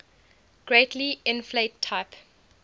greatly inflate type